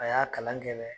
A y'a kalan kɛ dɛ